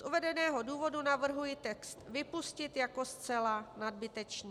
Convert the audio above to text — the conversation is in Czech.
Z uvedeného důvodu navrhuji text vypustit jako zcela nadbytečný.